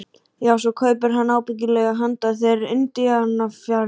Já, svo kaupir hann ábyggilega handa þér indíánafjaðrir.